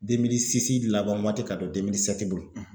laban waati ka don bolo